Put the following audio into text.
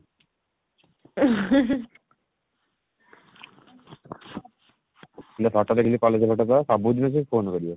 ଏଇନେ photo ଦେଖିଲେ college photo ତ ସବୁଦିନେ ସେ phone କରିବ